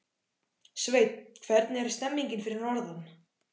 Sveinn, hvernig er stemningin fyrir norðan?